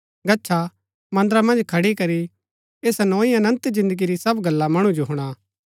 गच्छा मन्दरा मन्ज खड़ी करी ऐसा नोई अनन्त जिन्दगी री सब गल्ला मणु जो हुणा